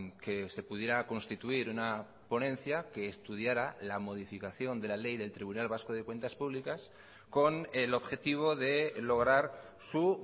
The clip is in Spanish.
que se pudiera constituir una ponencia que estudiara la modificación de la ley del tribunal vasco de cuentas públicas con el objetivo de lograr su